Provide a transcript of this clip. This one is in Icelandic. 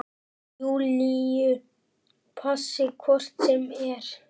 Júlíu passi hvort sem er.